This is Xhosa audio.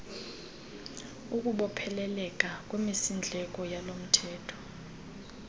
ukubopheleleka kwimisindleko yalomthetho